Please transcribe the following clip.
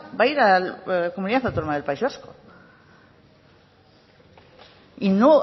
va a ir a la comunidad autónoma del país vasco y no